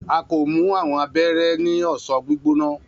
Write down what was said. a ko mu awọn abẹrẹ ni ọsan gbigbona.